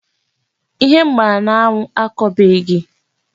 Ihe m gbara n'anwụ akọbeghị